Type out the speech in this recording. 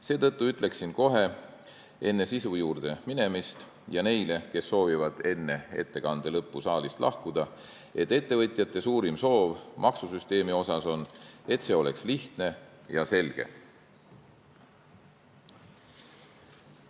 Seetõttu ütlen kohe, enne sisu juurde minemist ja neile, kes soovivad enne ettekande lõppu saalist lahkuda, et ettevõtjate suurim soov maksusüsteemi kohta on, et see oleks lihtne ja selge.